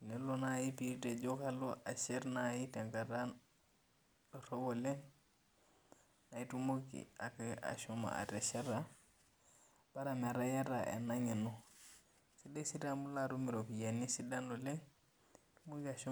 .Tenelo naaji nijo kalo ashet tenkata dorop oleng, naa itumoki ake ashomo atesheta bora metaa iyata ena ngeno. Sidai sii taa amu ilo atum oropiyiani kumok oleng.